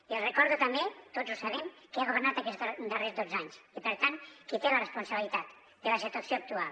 i els recordo també tots ho sabem qui ha governat aquests darrers dotze anys i per tant qui té la responsabilitat de la situació actual